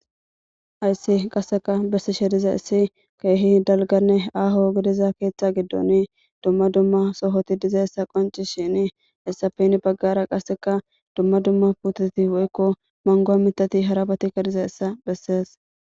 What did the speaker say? ''Haysi qaseka besishe dizaysi keehi dalganne aho gidiza keetha gidoni duma duma sohoti dizaysa qonccishini hesappe heni bagara qaseka duma duma pototi woykko manguwa mitati harabatika dizayssa besees.''